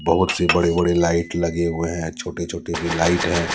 बहुत से बड़े बड़े लाइट लगे हुए हैं छोटे छोटे भी लाइट है।